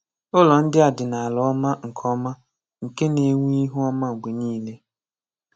Ùlọ́ ndị a dị n’álà òmà nke òmà nke na-enwé ihu òmà mgbe niile.